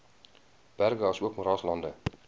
berge asook moeraslande